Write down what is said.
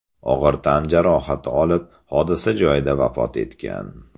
og‘ir tan jarohati olib, hodisa joyida vafot etgan.